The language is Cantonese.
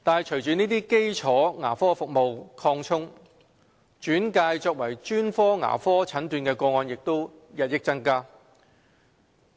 隨着基礎牙科服務得以擴充，轉介作專科牙科診斷的個案也日益增加。